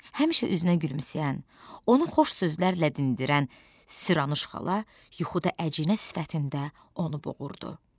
Həmişə üzünə gülümsəyən, onu xoş sözlərlə dinlədirən, Siranuş xala yuxuda əcinə sifətində onu boğurdu.